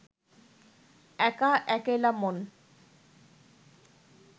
একা একেলা মন